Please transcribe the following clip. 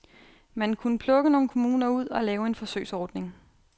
Man kunne plukke nogle kommuner ud og lave en forsøgsordning.